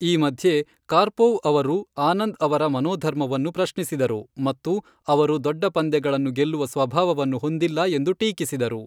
ಈ ಮಧ್ಯೆ, ಕಾರ್ಪೋವ್ ಅವರು ಆನಂದ್ ಅವರ ಮನೋಧರ್ಮವನ್ನು ಪ್ರಶ್ನಿಸಿದರು ಮತ್ತು ಅವರು ದೊಡ್ಡ ಪಂದ್ಯಗಳನ್ನು ಗೆಲ್ಲುವ ಸ್ವಭಾವವನ್ನು ಹೊಂದಿಲ್ಲ ಎಂದು ಟೀಕಿಸಿದರು.